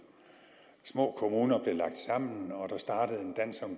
små kommuner blev lagt sammen og der startede en dans om